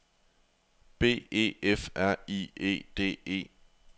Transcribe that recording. B E F R I E D E